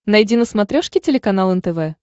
найди на смотрешке телеканал нтв